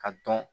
Ka dɔn